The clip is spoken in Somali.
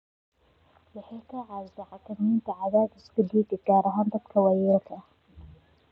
Waxay ka caawisaa xakamaynta cadaadiska dhiigga, gaar ahaan dadka waayeelka ah.